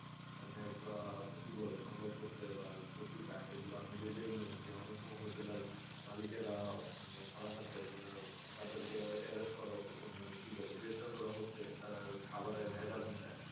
অনেক আহ কি বলে সংবাদ পত্রে বা পত্রিকায় এগুলো আপনি যে দেখবেন যে অনেক সব hotel এর মালিকেরা ধরা খাচ্ছে মানে তাদেরকে arrest করা মানে কি বলে গ্রেফতার করা হচ্ছে তারা খাবারে ভেজাল মিশায়ে